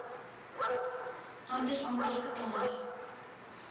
ander amptelike tale